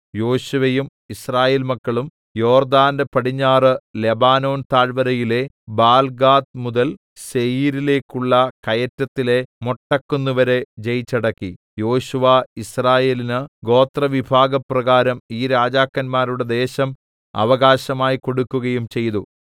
യോശുവയും യിസ്രായേൽമക്കളും യോർദ്ദാന്റെ പടിഞ്ഞാറ് ലെബാനോൻ താഴ്‌വരയിലെ ബാൽഗാദ് മുതൽ സേയീരിലേക്കുള്ള കയറ്റത്തിലെ മൊട്ടക്കുന്നുവരെ ജയിച്ചടക്കി യോശുവ യിസ്രായേലിന് ഗോത്രവിഭാഗപ്രകാരം ഈ രാജാക്കന്മാരുടെ ദേശം അവകാശമായി കൊടുക്കുകയും ചെയ്തു